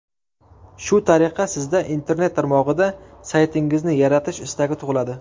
Shu tariqa, sizda internet tarmog‘ida saytingizni yaratish istagi tug‘iladi.